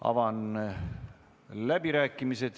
Avan läbirääkimised.